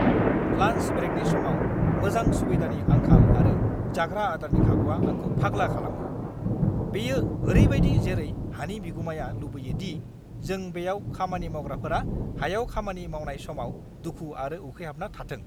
लान्स ब्रेकनि समाव मोजां सुबिदानि आंखाल आरो जाग्रा आदारनि खाबुआ आंखौ फाग्ला खालामो। बेयो ओरैबायदि जेरै हानि बिगुमाया लुबैयो दि जों बेयाव खामानि मावग्राफोरा हायाव खामानि मावनाय समाव दुखु आरो उखैहाबना थाथों!